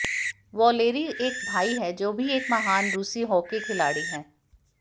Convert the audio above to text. Valery एक भाई है जो भी एक महान रूसी हॉकी खिलाड़ी है